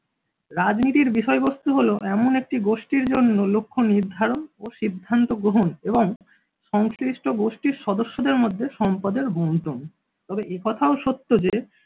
রাজনীতির বিষয়বস্তু হলো এমন একটি গোষ্ঠীর জন্য লক্ষ্য নির্ধারণ ও সিদ্ধান্ত গ্রহণ এবং সংশ্লিষ্ট গোষ্ঠীর সদস্যদের মধ্যে সম্পদের বন্টন। তবে একথাও সত্য যে